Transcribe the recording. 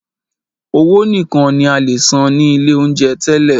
Owó nìkan ní a lè san ní ilé oúnjẹ tẹ́lẹ̀.